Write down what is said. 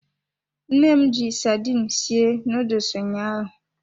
Nne m ji sardine sie nuduls ụnyaahụ.